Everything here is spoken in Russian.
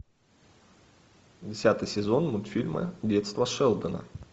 десятый сезон мультфильма детство шелдона